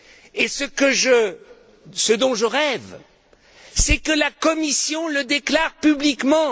Et ce dont je rêve, c'est que la Commission le déclare publiquement.